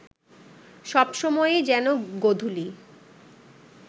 সব সময়েই যেন গোধূলি